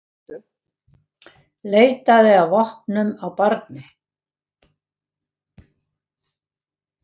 Leitaði að vopnum á barni